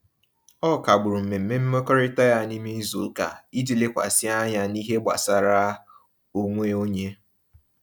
O kagbụrụ mmemme mmekọrịta ya n'ime izuụka iji lekwasị anya n'ihe gbasara onwe onye.